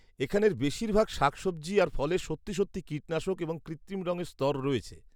-এখানের বেশিরভাগ শাকসবজি আর ফলে সত্যি সত্যি কীটনাশক এবং কৃত্রিম রঙের স্তর রয়েছে।